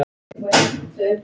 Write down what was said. Við rísum á fætur.